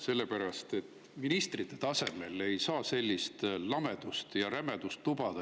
Sellepärast et ministrite tasemel ei saa sellist lamedust ja rämedust lubada.